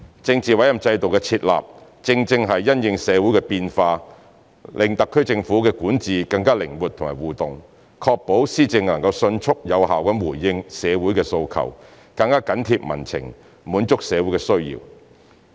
政治委任制度的設立，正正是因應社會的變化，讓特區政府的管治更靈活和互動，確保施政能迅速有效回應社會訴求，更緊貼民情，滿足社會需要。